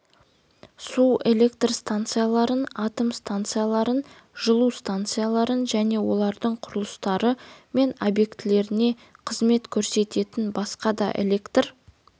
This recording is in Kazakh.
су электр станцияларын атом станцияларын жылу станцияларын және олардың құрылыстары мен объектілеріне қызмет көрсететін басқа да электр